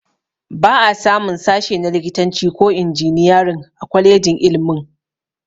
Ba a samun sashe na likitanci ko injiniyarin a kwalejin ilmin